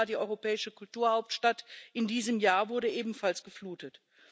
Matera, die europäische Kulturhauptstadt dieses Jahres, wurde ebenfalls geflutet.